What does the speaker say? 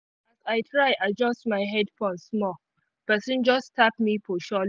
as i try adjust my headphones small person just tap me for shoulder